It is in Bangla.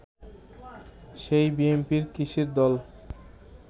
সেই বিএনপি কিসের দল